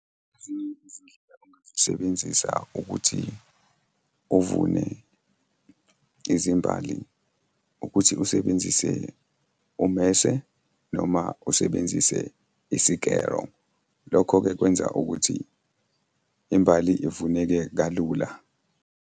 Ezinye izindlela ongazisebenzisa ukuthi uvune izimbali ukuthi usebenzise ummese noma usebenzise isikero. Lokho-ke kwenza ukuthi imbali ivuneke kalula.